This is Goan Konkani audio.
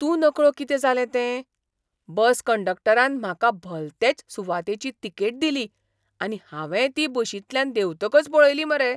तूं नकळो कितें जालें तें. बस कंडक्टरान म्हाका भलतेच सुवातेची तिकेट दिली, आनी हावेंय ती बशींतल्यान देंवतकच पळयली मरे!